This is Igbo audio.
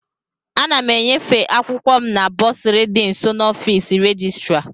Ana m enyefe akwụkwọ m na bọsụrị dị nso n'ọfịs rejistra.